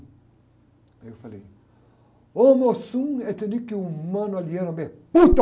Aí eu falei!